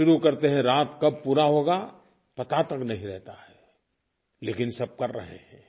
सुबह शुरू करते हैं रात कब पूरा होगा पता तक नहीं रहता है लेकिन सब कर रहे हैं